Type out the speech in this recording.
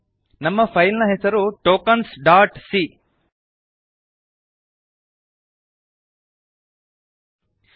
ನಮ್ಮ ಫೈಲ್ ನ ಹೆಸರು ಟೋಕೆನ್ಸ್ ಡಾಟ್ ಸಿಎ